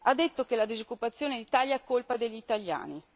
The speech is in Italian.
Ha detto che la disoccupazione in Italia è colpa degli italiani.